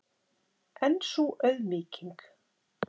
En sú auðmýking!